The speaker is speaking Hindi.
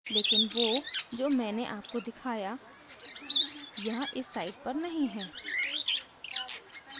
लेकिन वो जो मैंने आपको दिखाया यहाँ इस site पर नहीं है